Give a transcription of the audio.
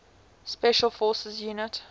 special forces units